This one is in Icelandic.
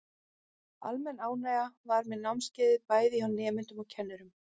Almenn ánægja var með námskeiðin, bæði hjá nemendum og kennurum.